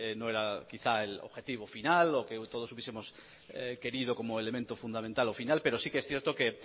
no era quizá el objetivo final o que todos hubiesemos querido como elemento fundamental o final pero sí que es cierto que